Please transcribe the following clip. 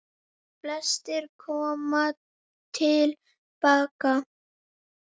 Flestir koma til baka